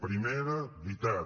primera veritat